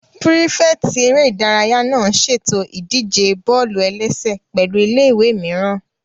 Pírífẹ̀tì eré ìdárayá náà n ṣètò ìdíje bọ́ọ̀lù-ẹlẹ́sẹ̀ pẹ̀lụ́ ilé-ìwé mìíràn